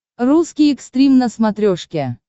русский экстрим на смотрешке